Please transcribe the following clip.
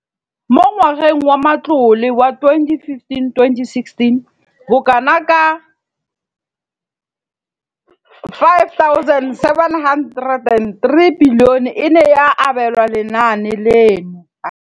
Mo ngwageng wa matlole wa 2015,16, bokanaka R5 703 bilione e ne ya abelwa lenaane leno.